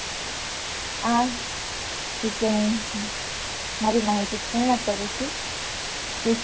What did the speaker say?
આ વિશે હું મારી માહિતી પૂર્ણ કરું છું.